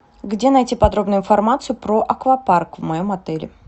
где найти подробную информацию про аквапарк в моем отеле